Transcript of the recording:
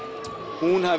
hún hafi